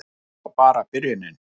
Og þetta var bara byrjunin.